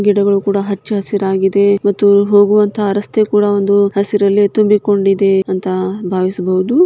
ಗಿಡಗಳು ಕೂಡ ಹಚ್ಚ ಹಸಿರಾಗಿದೆ ಮತ್ತು ಹೋಗುವಂತ ರಸ್ತೆ ಕೂಡ ಒಂದು ಹಸಿರಲ್ಲೇ ತುಂಬಿಕೊಂಡಿದೆ ಅಂತ ಬಾವಿಸ್ಬೋದು.